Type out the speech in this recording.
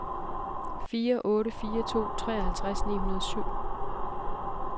fire otte fire to treoghalvtreds ni hundrede og syv